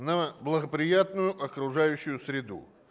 на благоприятную окружающую среду